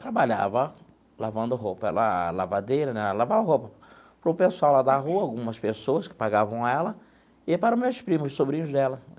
Trabalhava lavando roupa, ela lavadeira né, lavava roupa para o pessoal lá da rua, algumas pessoas que pagavam ela, e para os meus primos, sobrinhos dela.